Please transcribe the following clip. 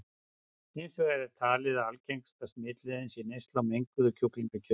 Hins vegar er talið að algengasta smitleiðin sé neysla á menguðu kjúklingakjöti.